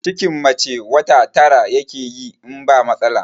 Cikin mace wata tara yakeyi in ba matsala